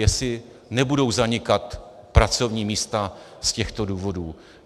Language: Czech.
Jestli nebudou zanikat pracovní místa z těchto důvodů?